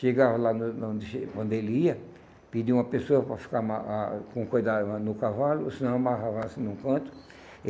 Chegava lá onde ele ia, pedia uma pessoa para ficar ma ah com cuidado mais no cavalo, ou senão amarrava assim num canto.